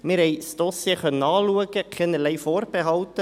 Wir haben das Dossier anschauen können, haben keinerlei Vorbehalte.